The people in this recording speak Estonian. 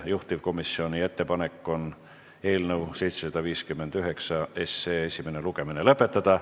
Juhtivkomisjoni ettepanek on eelnõu 759 esimene lugemine lõpetada.